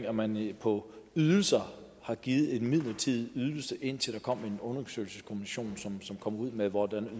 at man på ydelser har givet en midlertidig ydelse indtil der kommer en undersøgelseskommission som kommer ud med hvordan